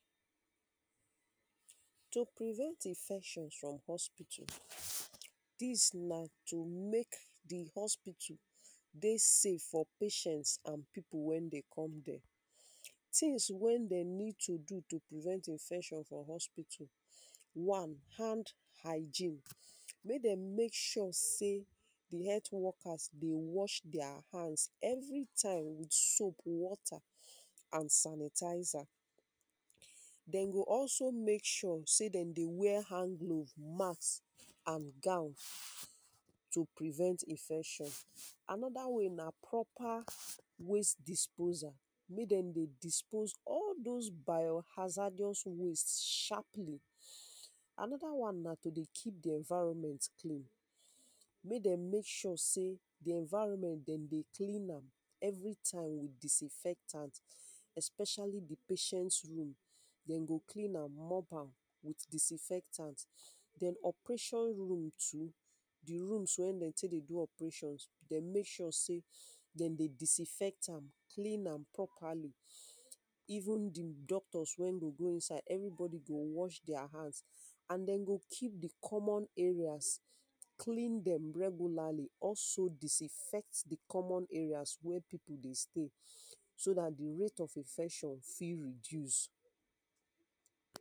To prevent infections from hospital, dis na to make di hospital dey safe for patients and pipu wey dey come dere. Tins wey dem need to do to prevent infection from hospital, one hand hygiene, make dem make sure sey health wokas dey wash dia hands everytime with soap, water and sanitizer, dem go also make sure sey dem dey wear hand glove, masks and gown to prevent infection. Another way na proper waste disposal, make dem dey dispose all dose biohazardous waste sharply. Another one na to dey keep di environment clean, make dem make sure sey di environment dem dey clean am everytime with disinfectant especially di patient room, dem go clean am mop with disinfectant, den operation rooms too di rooms wey dem take dey do operation, dem make sure sey dem dey disinfect am, clean am properly even di doctors wey go go inside every body go watch dia hands and dem go keep di common areas clean dem regularly also disinfect di common wey dem dey stay so dat di rate of infection fit reduce.